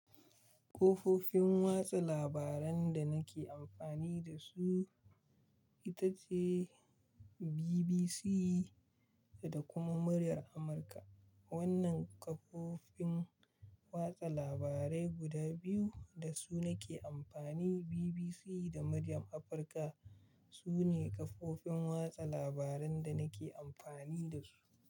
Kafofin watsa labaran da nake amfani da su ita ce BBC da kuma Muryar Amurka. Wannan kafofin watsa labarai guda biyu da su nake amfani, BBC da Muryar Afirka sune kafofin watsa labaran da nake amfani da su.